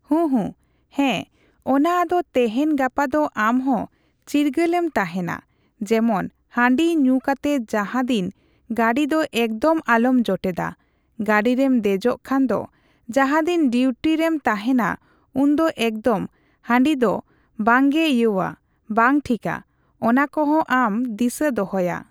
ᱦᱩᱸ, ᱦᱩᱸ, ᱦᱮᱸ ᱚᱱᱟ ᱟᱫᱚ ᱛᱮᱦᱮᱧ ᱜᱟᱯᱟ ᱫᱚ ᱟᱢᱦᱚᱸ, ᱪᱤᱨᱜᱟᱹᱞ ᱮᱢ ᱛᱟᱦᱮᱱᱟ᱾ ᱡᱮᱢᱚᱱ ᱦᱟᱺᱰᱤ ᱧᱩ ᱠᱟᱛᱮ ᱡᱟᱦᱟᱫᱤᱱ ᱜᱟᱹᱰᱤ ᱫᱚ ᱮᱠᱫᱚᱢ ᱟᱞᱚᱢ ᱡᱚᱴᱮᱫᱟ᱾ ᱜᱟᱹᱰᱤᱨᱮᱢ ᱫᱮᱡᱚᱜ ᱠᱷᱟᱱ ᱫᱚ, ᱡᱟᱦᱟᱫᱤᱱ ᱰᱤᱭᱩᱴᱤ ᱨᱮᱢ ᱛᱟᱦᱮᱱᱟ ᱩᱱ ᱫᱚ ᱮᱠᱫᱚᱢ ᱦᱟᱺᱰᱤ ᱫᱚ ᱵᱟᱝᱜᱮ ᱤᱭᱟᱹᱣᱟ᱾ ᱵᱟᱝ ᱴᱷᱤᱠᱟ᱾ ᱚᱱᱟ ᱠᱚᱦᱚᱸ ᱟᱢ ᱫᱤᱥᱟᱹ ᱫᱚᱦᱚᱭᱟ᱾